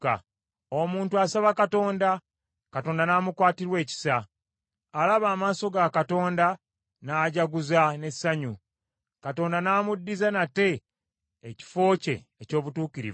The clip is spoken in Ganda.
Omuntu asaba Katonda, Katonda n’amukwatirwa ekisa. Alaba amaaso ga Katonda n’ajaguza n’essanyu, Katonda n’amuddiza nate ekifo kye eky’obutuukirivu.